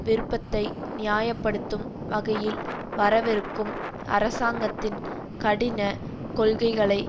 விருப்பத்தை நியாய படுத்தும் வகையில் வரவிருக்கும் அரசாங்கத்தின் கடின கொள்கைகளைச்